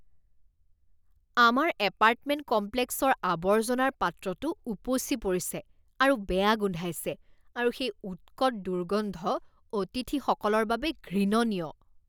আমাৰ এপাৰ্টমেণ্ট কমপ্লেক্সৰ আৱৰ্জনাৰ পাত্ৰটো উপচি পৰিছে আৰু বেয়া গোন্ধাইছে আৰু সেই উৎকট দুৰ্গন্ধ অতিথিসকলৰ বাবে ঘৃণনীয়।